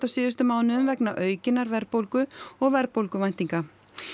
síðustu mánuðum vegna aukinnar verðbólgu og verðbólguvæntinga